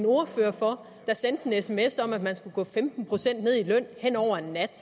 ordfører for der sendte en sms om at man skulle gå femten procent ned i løn hen over en nat